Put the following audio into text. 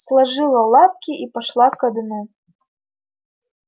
сложила лапки и пошла ко дну